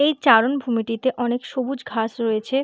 এই চারণভূমিটিতে অনেক সবুজ ঘাস রয়েছে।